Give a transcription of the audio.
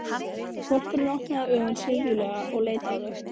Hvolpurinn opnaði augun syfjulega og leit á þau.